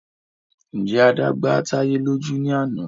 Ǹjẹ́ Adé gba táyé lójú ní àná